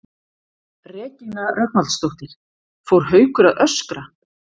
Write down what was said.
Regína Rögnvaldsdóttir: Fór Haukur að öskra?